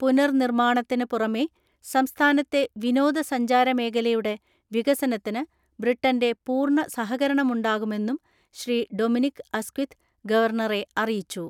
പുനർനിർമ്മാണത്തിന് പുറമെ സംസ്ഥാനത്തെ വിനോദസഞ്ചാര മേഖലയുടെ വികസനത്തിന് ബ്രിട്ടന്റെ പൂർണ്ണ സഹകരണമുണ്ടാകുമെന്നും ശ്രീ ഡൊമിനിക്ക് അസ്ക്വിത് ഗവർണറെ അറിയിച്ചു.